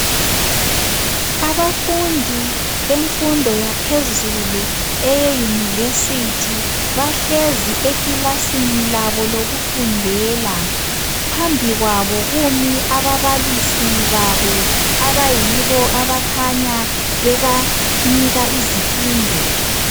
Abafundi bemfundo yaphezulu, (eyeyunivesithi), bahlezi ekilasini labo lokufundela. Phambi kwabo kumi ababalisi babo abayibo abakhanya bebanika izifundo.